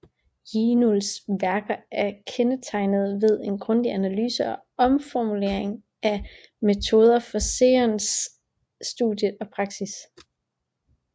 Jinuls værker er kendetegnede ved en grundig analyse og omformulering af metoderne for Seons studie og praksis